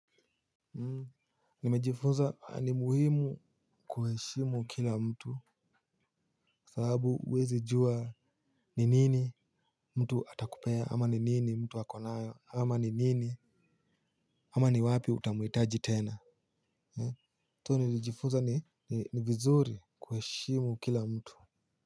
Nimejifunza ni muhimu kuheshimu kila mtu sababu uwezi jua ni nini mtu atakupea ama ni nini mtu ako nayo ama ni nini ama ni wapi utamuhitaji tena so nilijifunza ni vizuri kuheshimu kila mtu.